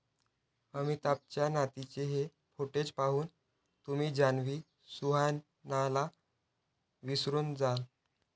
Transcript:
अमिताभच्या नातीचे हे फोटोज पाहून तुम्ही जान्हवी, सुहानाला विसरून जाल